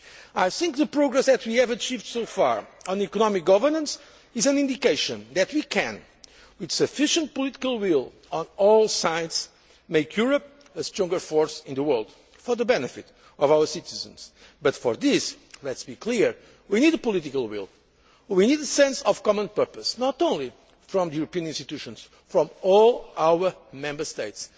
I think that the progress that we have achieved so far on economic governance is an indication that we can, with sufficient political will on all sides, make Europe a stronger force in the world for the benefit of our citizens, but for this let us be clear that we need political will and we need a sense of common purpose, not only from the European institutions, but from all our Member States.